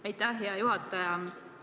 Aitäh, hea juhataja!